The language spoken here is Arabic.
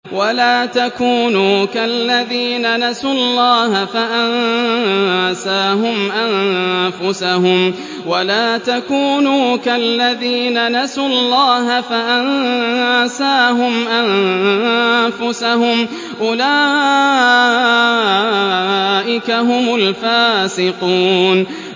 وَلَا تَكُونُوا كَالَّذِينَ نَسُوا اللَّهَ فَأَنسَاهُمْ أَنفُسَهُمْ ۚ أُولَٰئِكَ هُمُ الْفَاسِقُونَ